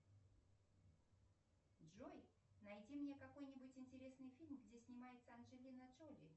джой найди мне какой нибудь интересный фильм где снимается анджелина джоли